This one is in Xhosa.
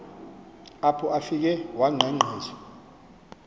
apho afike wangqengqiswa